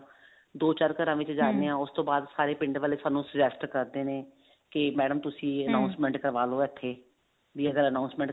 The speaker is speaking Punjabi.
ਦੋ ਚਾਰ ਵਿੱਚ ਜਾਣੇ ਆਂ ਉਸਤੋਂ ਬਾਅਦ ਸਾਰੇ ਪਿੰਡ ਵਾਲੇ ਸਾਨੂੰ suggest ਕਰਦੇ ਨੇ ਕੇ madam ਤੁਸੀਂ announcement ਕਰਵਾ ਲੋ ਇੱਥੇ ਵੀ ਅਗਰ announcement